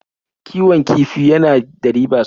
Kiwon kifi ya na da riba sosai.